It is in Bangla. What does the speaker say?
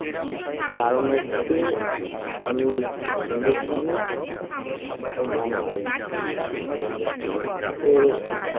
কারণ হচ্ছে আমি হিন্দুস্তানি ও মোহামডান মানে মুসলিম তো